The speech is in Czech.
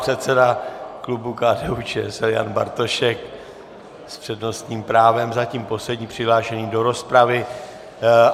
Předseda klubu KDU-ČSL Jan Bartošek s přednostním právem, zatím poslední přihlášený do rozpravy.